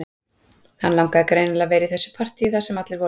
Hann langaði greinilega að vera í þessu partíi þar sem allir voru